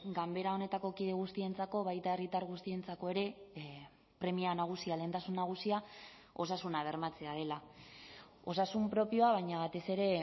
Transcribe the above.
ganbera honetako kide guztientzako baita herritar guztientzako ere premia nagusia lehentasun nagusia osasuna bermatzea dela osasun propioa baina batez ere